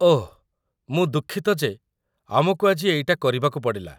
ଓଃ, ମୁଁ ଦୁଃଖିତ ଯେ ଆମକୁ ଆଜି ଏଇଟା କରିବାକୁ ପଡ଼ିଲା ।